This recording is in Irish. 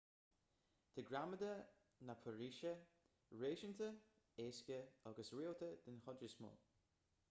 tá gramadach na peirsise réasúnta éasca agus rialta den chuid is mó